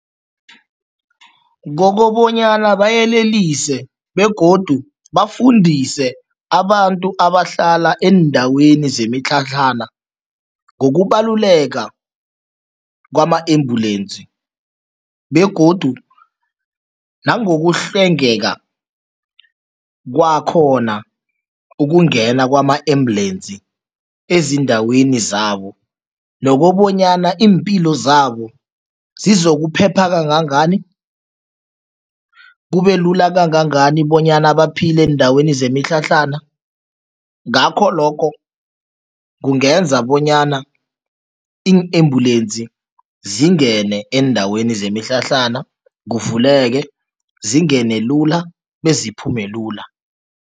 Kokobanyana bayelelise begodu bafundise abantu abahlala eendaweni zemitlhatlhana ngokubaluleka kwama-ambulensi begodu nangokuhlwengeka kwakhona ukungena kwama-ambulensi ezindaweni zabo nokobanyana iimpilo zabo zizokuphepha kangangani, kubelula kangangani bonyana baphile eendaweni zemitlhatlhana, ngakho lokho kungenza bonyana iin-embulensi zingene eendaweni zemitlhatlhana, kuvuleke, zingene lula beziphume lula.